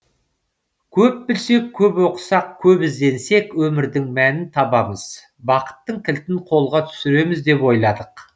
көп білсек көп оқысақ көп ізденсек өмірдің мәнін табамыз бақыттың кілтін қолға түсіреміз деп ойладық